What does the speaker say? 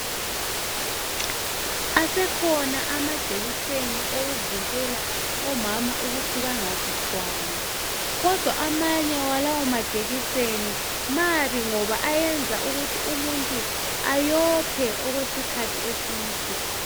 Asekhona amajekiseni okuvikelw omama ukuthi bangazithwali kodwa amanye walawa majekiseni mabi ngoba ayenza ukuthi umuntu ayiphe okwesikhathi eside.